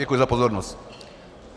Děkuji za pozornost.